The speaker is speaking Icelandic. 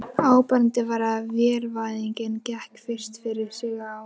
Áberandi var að vélvæðingin gekk fyrst fyrir sig á